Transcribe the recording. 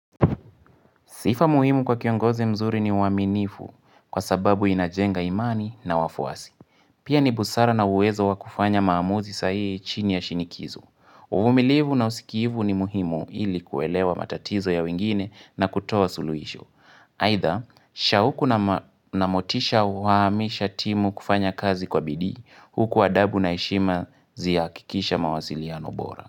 Sifa muhimu kwa kiongozi mzuri ni uaminifu kwa sababu inajenga imani na wafuasi. Pia ni busara na uwezo wa kufanya maamuzi sahihi chini ya shinikizo uvumilivu na usikivu ni muhimu ili kuelewa matatizo ya wengine na kutoa suluhisho. Haitha, sha huku na ma na motisha hawamisha timu kufanya kazi kwa bidii, huku adabu na heshima zihakikishe mawasiliano bora.